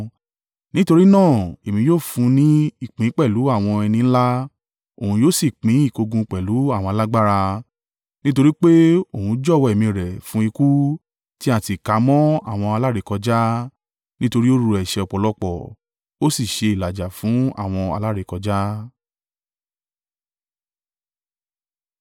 Nítorí náà èmi yóò fún un ní ìpín pẹ̀lú àwọn ẹni ńlá òun yóò sì pín ìkógun pẹ̀lú àwọn alágbára, nítorí pé òun jọ̀wọ́ ẹ̀mí rẹ̀ fún ikú, tí a sì kà á mọ́ àwọn alárékọjá. Nítorí ó ru ẹ̀ṣẹ̀ ọ̀pọ̀lọpọ̀, ó sì ṣe ìlàjà fún àwọn alárékọjá.